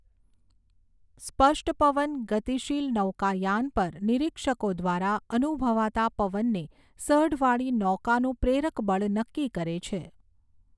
સ્પષ્ટ પવન, ગતિશીલ નૌકાયાન પર નિરીક્ષકો દ્વારા અનુભવાતા પવનને સઢવાળી નૌકાનું પ્રેરક બળ નક્કી કરે છે.